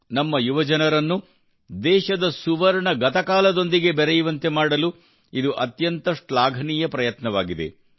ನಮ್ಮ ಯುವಜನರನ್ನು ದೇಶದ ಸುವರ್ಣ ಗತಕಾಲದೊಂದಿಗೆ ಬೆರೆಯುವಂತೆ ಮಾಡಲು ಇದು ಅತ್ಯಂತ ಶ್ಲಾಘನೀಯ ಪ್ರಯತ್ನವಾಗಿದೆ